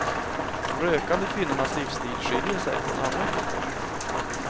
De rökande kvinnornas livsstil skiljer sig från andra kvinnors.